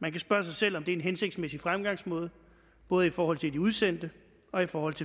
man kan spørge sig selv om det er en hensigtsmæssig fremgangsmåde både i forhold til de udsendte og i forhold til